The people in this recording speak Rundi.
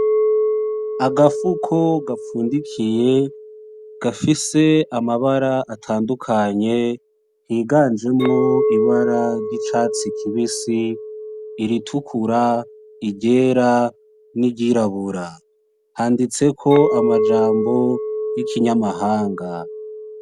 Agafuko gafundikiye gafise amabara atandukanye higanjemwo ibara ry’icatsi kibisi iritukura, iryera n’iryirabura. Handitseko amajambo y’ikinyamahanga.